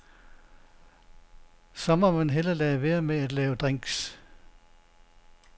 Så må man hellere lade være med at lave drinks.